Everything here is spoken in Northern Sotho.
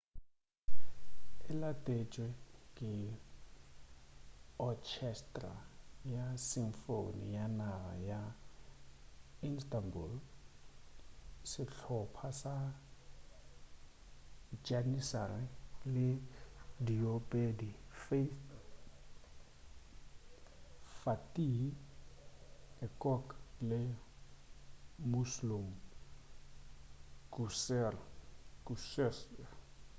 e latetšwe ke otšhestra ya symphony ya naga ya instanbul sehlopha sa janissary le diopedi fatih erkoç le müslüm gürses